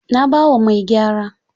Na ba wa mai gyara.